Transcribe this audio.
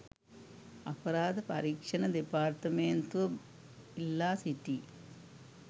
අපරාධ පරීක්‍ෂණ දෙපාර්තමේන්තුව ඉල්ලා සිටියි